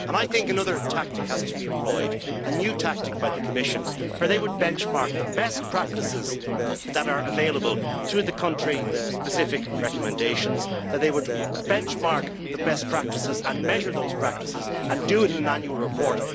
I think another tactic has to be employed a new tactic by the Commission where they would benchmark the best practices that are available through the country specific recommendations, that they would benchmark the best practices and measure those practices and do it in an annual report.